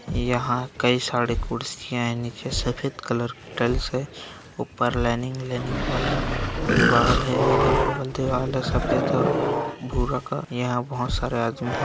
यहाँ कई सारे कुर्सियाँ है नीचे सफ़ेद कलर की टाइल्स है| ऊपर लाइनिंग - लाइनिंग वाला दीवाल है अगल-बगल दीवाल है सफ़ेद और भूरा का | यहाँ बहोत सारे आदमी है।